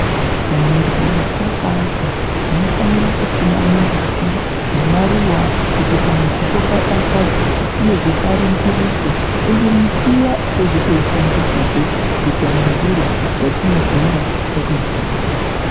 Pamizi yataaka tinofanira kusima mimbiti nemaruwa kuti pamuzipo padakadze uyezve paningirike. Ende mbiti iya tinotozoishandisazve kuita mimvuri yatinogara, takazorora.